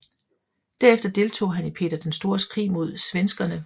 Derefter deltog han i Peter den Stores krig mod svenskerne